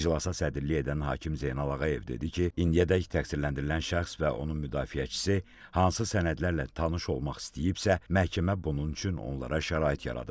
İclasa sədrlik edən hakim Zeynal Ağayev dedi ki, indiyədək təqsirləndirilən şəxs və onun müdafiəçisi hansı sənədlərlə tanış olmaq istəyibsə, məhkəmə bunun üçün onlara şərait yaradıb.